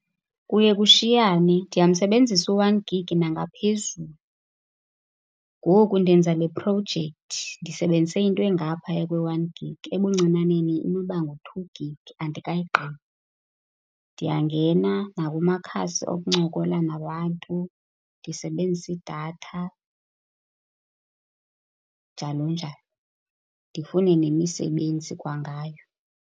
Kuye kushiyane. Ndiyamsebenzisa u-one gig nangaphezulu. Ngoku ndenza leprojekthi ndisebenzise into engaphaya kwe-one gig. Ebuncinaneni inoba ngu-two gig, andikayigqibi. Ndiyangena nakumakhasi okuncokola nabantu ndisebenzise idatha, njalo njalo, ndifune nemisebenzi kwangayo.